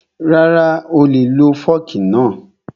Rara, oolè lo fọ́ọ̀kì náà